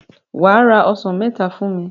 Wà á ra ọsàn mẹta fún mi.